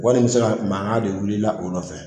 Wari in bi se ka makan de wulila la o nɔfɛ